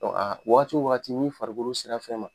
Dɔn a wagati o wagati ni farikolo sera fɛn ma